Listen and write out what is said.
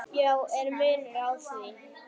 Já, er munur á því?